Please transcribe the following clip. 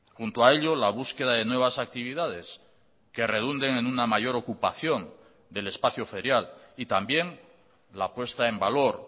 junto a ello la búsqueda de nuevas actividades que redunden en una mayor ocupación del espacio ferial y también la puesta en valor